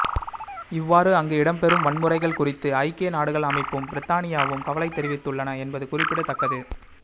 இவ்வாறு அங்கு இடம்பெறும் வன்முறைகள் குறித்து ஐக்கிய நாடுகள் அமைப்பும் பிரித்தானியாவும் கவலை தெரிவித்துள்ளன என்பது குறிப்பிடத்தக்கது